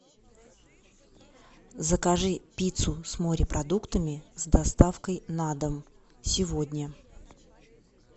закажи пиццу с морепродуктами с доставкой на дом сегодня